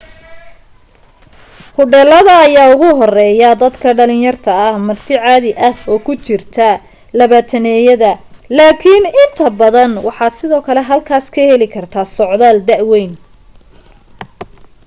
hodheelada ayaa ugu horreeya dadka dhalinta yar marti caadi ah oo ku jirta labaataneyada laakiin inta badan waxaad sidoo kale halkaas ka heli kartaa socdaal da weyn